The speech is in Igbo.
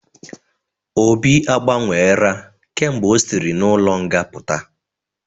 Obi a gbanwela kemgbe ọ sịri n'ụlọ nga puta